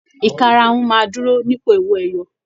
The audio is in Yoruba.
Ìkarahun máa dúró nípò owó ẹyọ